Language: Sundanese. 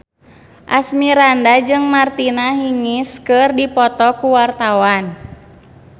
Asmirandah jeung Martina Hingis keur dipoto ku wartawan